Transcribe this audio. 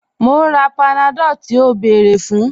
Mo n rà Panadol tí o bẹ́ẹ̀rẹ̀ fun